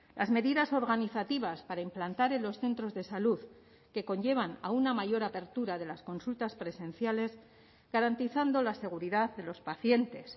las medidas organizativas para implantar en los centros de salud que conllevan a una mayor apertura de las consultas presenciales garantizando la seguridad de los pacientes